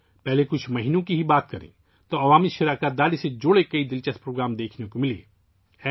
اگر ہم صرف ابتدائی چند مہینوں کی بات کریں تو ہمیں عوامی شرکت سے متعلق بہت سے دلچسپ پروگرام دیکھنے کو ملے